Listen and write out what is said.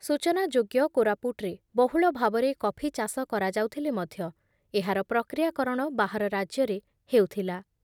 ସୂଚନା ଯୋଗ୍ୟ କୋରାପୁଟ୍‌ରେ ବହୁଳ ଭାବରେ କଫି ଚାଷ କରାଯାଉଥିଲେ ମଧ୍ୟ ଏହାର ପ୍ରକ୍ରିୟାକରଣ ବାହାର ରାଜ୍ୟରେ ହେଉଥିଲା ।